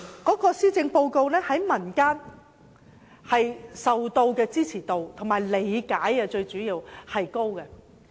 看來施政報告在民間的支持度及理解度甚高。